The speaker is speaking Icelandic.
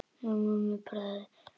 Mummi bróðir gerði það líka.